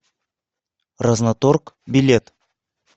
разноторг билет